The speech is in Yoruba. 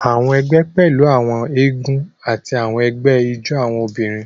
Àwọn egbé pẹlú àwọn eégún ati awọn ẹgbẹ ijó awọn obìnrin.